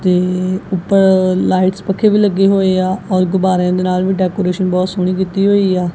ਤੇ ਉੱਪਰ ਲਾਈਟਸ ਪੱਖੇ ਵੀ ਲੱਗੇ ਹੋਏ ਆ ਔਰ ਗੁਬਾਰੇ ਦੇ ਨਾਲ ਵੀ ਡੈਕੋਰੇਸ਼ਨ ਬਹੁਤ ਸੋਹਣੀ ਦਿੱਤੀ ਹੋਈ ਆ।